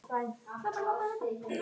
Sem þeir gera aldrei!